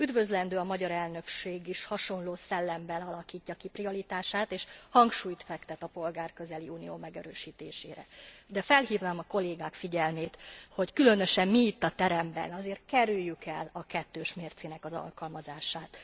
Üdvözlendő, hogy a magyar elnökség is hasonló szellemben alakítja ki prioritását és hangsúlyt fektet a polgárközeli Unió megerősítésére, de felhívnám a kollégák figyelmét, hogy különösen mi itt a teremben azért kerüljük el a kettős mércének az alkalmazását.